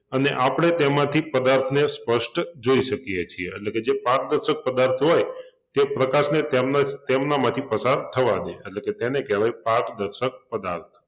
અને આપણે તેમાંથી પદાર્થને સ્પષ્ટ જોઈ શકીએ છીએ એટલે કે જે પારદર્શક પદાર્થ હોય તે પ્રકાશને તેમન તેમનામાંથી પસાર થવા દે છે એટલે કે તેને કહેવાય પારદર્શક પદાર્થ